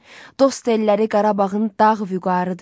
Dost elləri Qarabağın dağ vüqarıdır.